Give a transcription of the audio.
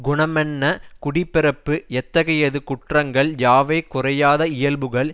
குணமென்ன குடி பிறப்பு எத்தகையது குற்றங்கள் யாவை குறையாத இயல்புகள்